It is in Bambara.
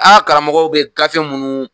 Aa karamɔgɔ bɛ gafe munnu.